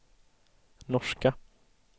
norska